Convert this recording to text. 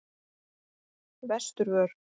Vesturvör